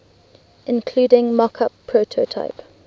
including mockup prototype